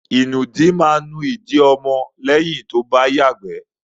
Ìnùdí máa nú ìdí ọmọ lẹ́yìn tó bá yàgbẹ́.